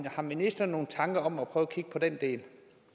har ministeren nogle tanker om at prøve at kigge på den del